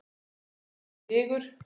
Böddi í Vigur.